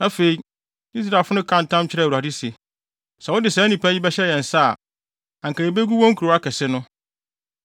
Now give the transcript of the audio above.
Afei, Israelfo no kaa ntam kyerɛɛ Awurade se, “Sɛ wode saa nnipa yi bɛhyɛ yɛn nsa a, anka yebegu wɔn nkurow akɛse no.”